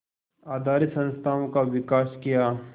आधारित संस्थाओं का विकास किया